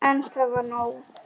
En það var nóg.